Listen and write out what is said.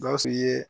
Gawusu ye